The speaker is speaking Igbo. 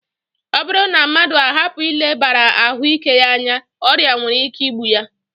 Ọ bụrụ na mmadụ ahapụ ilebara ahụike ya anya, ọrịa nwere ike igbu ya